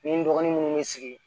Ni n dɔgɔnin munnu be sigi